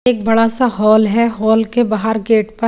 एक बड़ा सा होल हे होल के बाहर गेट पर --